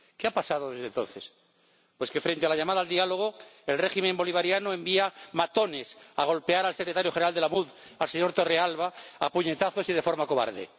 ¿Qué ha pasado desde entonces? Pues que, frente a la llamada al diálogo, el régimen bolivariano envía matones a golpear al Secretario General de la MUD, el señor Torrealba, a puñetazos y de forma cobarde